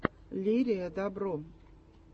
лерия добро